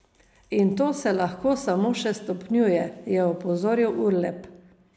In to se lahko samo še stopnjuje, je opozoril Urlep.